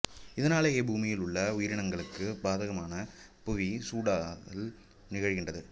இதனாலேயே பூமியில் உள்ள உயிரினங்களுக்குப் பாதகமான புவி சூடாதல் நிகழ்கின்றது